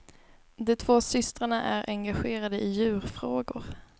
De två systrarna är engagerade i djurfrågor.